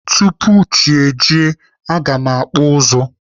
Tupu chi ejie, aga m akpụ ụzụ.